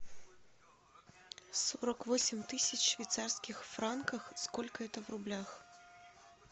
сорок восемь тысяч швейцарских франков сколько это в рублях